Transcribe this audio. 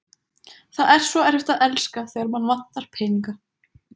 Það er svo erfitt að elska, þegar mann vantar peninga